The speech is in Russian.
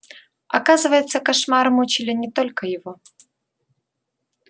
оказывается кошмары мучили не только его